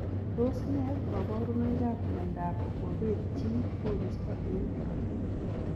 Tos nee kabarunoik ap miondoop kopeet chii koristoo eng korotik?